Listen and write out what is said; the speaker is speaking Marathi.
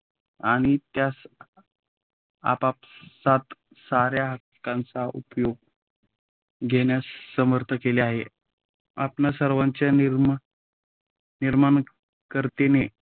आणि त्यास आपापसात साऱ्या हक्कांचा उपय़ोग घेण्यास समर्थ केले आहे. आपणा सर्वांच्या निर्माण निर्माणकर्त्याने